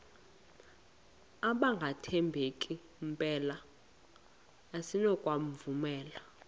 abangathembeki mpela asinakubovumela